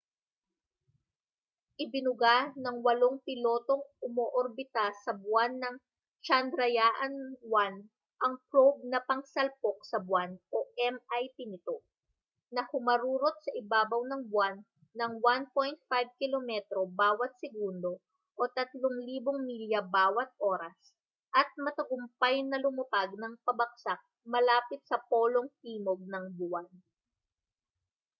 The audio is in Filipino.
ibinuga ng walang-pilotong umoorbita sa buwan na chandrayaan 1 ang probe na pangsalpok sa buwan mip nito na humarurot sa ibabaw ng buwan nang 1.5 kilometro bawa't segundo 3000 milya bawa't oras at matagumpay na lumapag nang pabagsak malapit sa polong timog ng buwan